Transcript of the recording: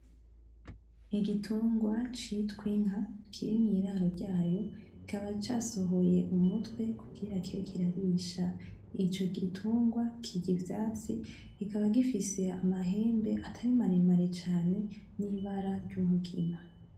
Igitungwa citwa inka kiri mu iraro ryayo kikaba casohoye umutwe kugirango kibe kirarisha ico gitungwa kirya ivyatsi kikaba gifise amahembe atari maremare cane n’ibara ry’umugina.